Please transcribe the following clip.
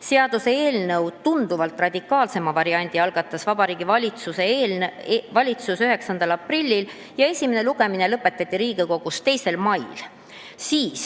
Seaduseelnõu tunduvalt radikaalsema variandi algatas Vabariigi Valitsus 9. aprillil ja esimene lugemine lõpetati Riigikogus 2. mail.